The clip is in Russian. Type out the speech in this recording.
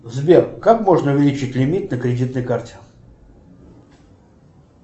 сбер как можно увеличить лимит на кредитной карте